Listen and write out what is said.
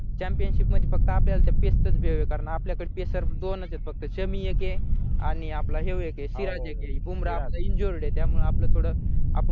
championship मधी फक्त आपल्याला तर pace चंच भे ए कारण आपल्याकड pacer दोनचेत फक्त शमी एके आणि आपला यो एके हे सिराज एके बुमराह injured त्यामुळे आपलं थोडं आपुन थोडं